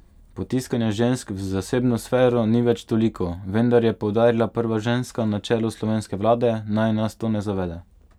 Potiskanja žensk v zasebno sfero ni več toliko, vendar, je poudarila prva ženska na čelu slovenske vlade, naj nas to ne zavede.